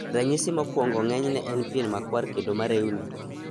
Ranyisi mokwongo ng'enyne en pien na kuar kendo mareuni.